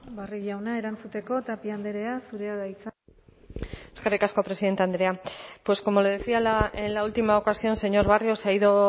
barrio jauna erantzuteko tapia andrea zurea da hitza eskerrik asko presidente andrea pues como le decía en la última ocasión señor barrio se ha ido